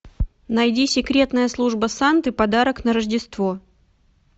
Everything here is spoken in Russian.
найди секретная служба санты подарок на рождество